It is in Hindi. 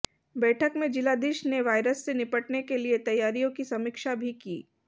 बैठक में जिलाधीश ने वायरस से निपटने के लिए तैयारियों की समीक्षा भी की